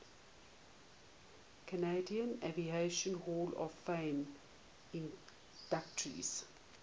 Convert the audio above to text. canadian aviation hall of fame inductees